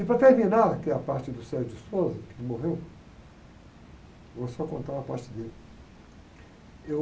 E para terminar, que é a parte do, que ele morreu, vou só contar uma parte dele. Eu...